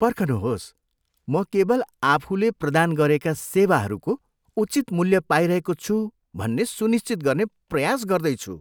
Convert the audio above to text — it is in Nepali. पर्खनुहोस्, म केवल आफूले प्रदान गरेका सेवाहरूको उचित मूल्य पाइरहेको छु भन्ने सुनिश्चित गर्ने प्रयास गर्दैछु।